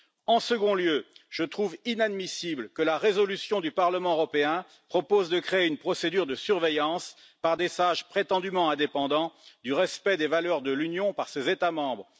En second lieu, je trouve inadmissible que la résolution du Parlement européen propose de créer une procédure de surveillance, par des sages prétendument indépendants, du respect des valeurs de l'Union par ses États membres.